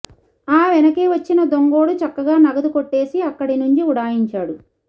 ఆ వెనకే వచ్చిన దొంగోడు చక్కగా నగదు కొట్టేసి అక్కడి నుంచి ఉడాయించాడు